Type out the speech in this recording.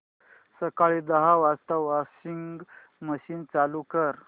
सकाळी दहा वाजता वॉशिंग मशीन चालू कर